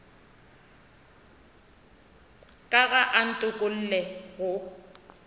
ka ga a ntokolle go